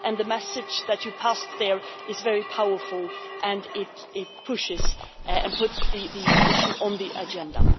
the message that you passed on is very powerful and it pushes and puts the issue on the agenda.